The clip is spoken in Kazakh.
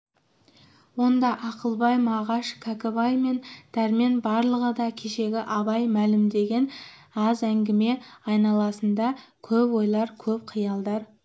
онда ақылбай мағаш кәкітай мен дәрмен барлығы да кешегі абай мәлімдеген аз әңгіме айналасында көп ойлар көп қиялдар